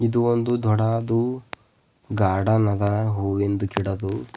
ಇದು ಒಂದು ದೊಡಾದು ಗಾರ್ಡನ್ ಅದ ಹೂವಿಂದ ಗಿಡದು--